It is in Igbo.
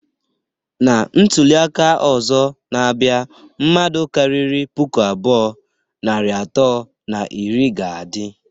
Na ntuli aka ozo na-abia, mmadu kariri puku abụọ, narị atọ na iri ga-adi